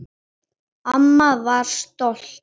Amma var stolt.